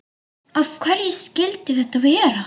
Af hverju skyldi þetta vera?